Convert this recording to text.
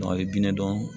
a ye diinɛ dɔn